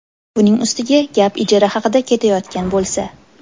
Buning ustiga gap ijara haqida ketayotgan bo‘lsa.